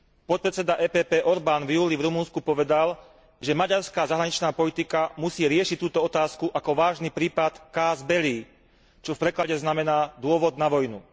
Podpredseda EPP Orban v júli v Rumunsku povedal, že maďarská zahraničná politika musí riešiť túto otázku ako vážny prípad casus belli, čo v preklade znamená dôvod na vojnu.